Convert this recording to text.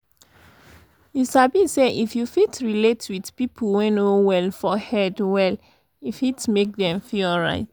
you sabi say if you fit relate with people wey no well for head well e fit make them feel alright.